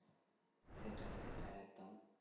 সেটাই সেটাই একদম